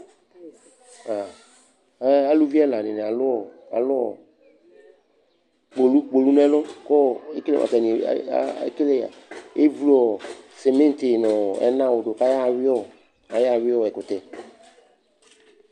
Ɛ aluvi ɛla dɩnɩ alʋ ɔ alʋ ɔ kpolu kpolu nʋ ɛlʋ kʋ ɔ ekele atanɩ a a ekele evlu ɔ sɩmɩntɩ nʋ ɔ ɛnawʋ dʋ kʋ ayaɣa ayʋɩ ɔ kʋ ayayʋɩ ɛkʋtɛ